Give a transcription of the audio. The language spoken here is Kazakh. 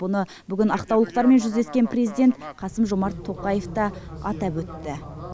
бұны ақтаулықтармен жүздескен президент қасым жомарт тоқаев та атап өтті